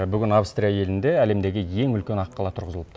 бүгін австрия елінде әлемдегі ең үлкен аққала тұрғызылыпты